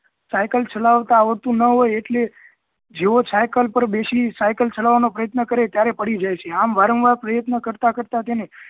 cycle ચલાવતા આવડતું ના હોય એટલે જેવો સાયકલ પર બેસી સાયકલ ચાલવાનો પ્રયત્ન કરે ત્યારે પડી જાય છે આમ વારંવાર પ્રયત્ન કરતા કરતા તેને